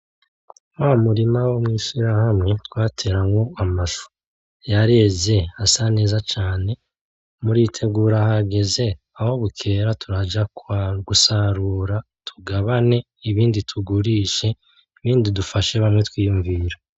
Wa murima wo mw'ishirahamwe twateramwo amashu, yareze asa neza cane muritegura hageze aho bukera turaja gusarura tugabane ibindi tugurishe ibindi dufashe bamwe twiyunvira.